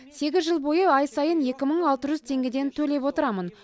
сегіз жыл бойы ай сайын екі мың алты жүз теңгеден төлеп отырамын